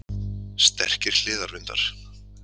Sterkir hliðarvindar